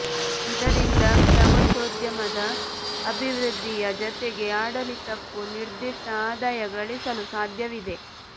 ಇದರಿಂದ ಪ್ರವಾಸೋದ್ಯ ಮದ ಅಭಿವೃದ್ಧಿಯ ಜತೆಗೆ ಆಡಳಿತಕ್ಕೂ ನಿರ್ದಿಷ್ಟ ಆದಾಯ ಗಳಿಸಲು ಸಾಧ್ಯವಿದೆ